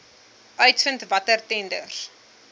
uitvind watter tenders